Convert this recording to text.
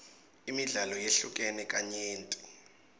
imidlalo yehlukene kanyenti